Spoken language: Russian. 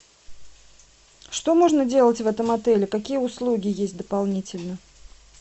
что можно делать в этом отеле какие услуги есть дополнительно